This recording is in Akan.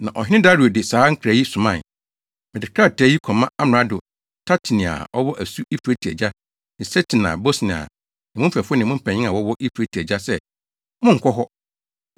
Na ɔhene Dario de saa nkra yi somae: Mede krataa yi kɔma amrado Tatenai a ɔwɔ asu Eufrate agya ne Setar-Bosnai ne mo mfɛfo ne mpanyimfo a wɔwɔ Eufrate agya sɛ monnkɔ hɔ.